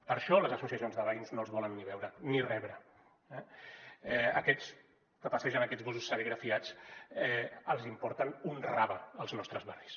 per això les associacions de veïns no els volen ni veure ni rebre eh a aquests que passegen aquests busos serigrafiats els importen un rave els nostres barris